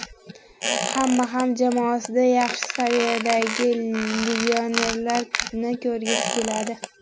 Hamma ham jamoasida yaxshi saviyadagi legionerlarni ko‘rgisi keladi.